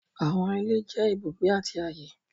Àwọn ìlẹ̀ jẹ́ ìbùgbé àti ayé.